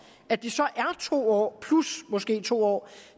at det så er to år plus måske to år